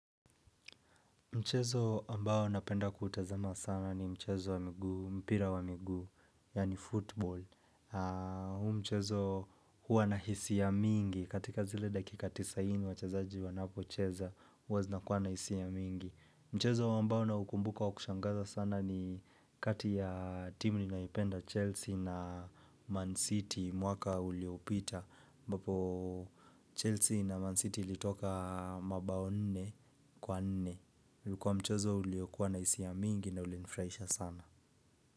Mchezo ambao napenda kutazama sana ni mchezo wa miguu, mpira wa miguu, yani football. Huu mchezo huwa na hisia mingi, katika zile dakika tisini wachezaji wanapo cheza, huwa zinakuwa na hisia mingi. Mchezo ambao naukumbuka wa kushangaza sana ni kati ya timu ninaipenda Chelsea na Man City, mwaka uliopita. Ambapo Chelsea na Man City litoka mabao nne kwa nne. Ulikuwa mchezo uliokuwa na hisia mingi na ulinifurahisha sana.